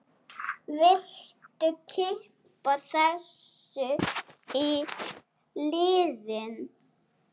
Viltu kippa þessu í liðinn?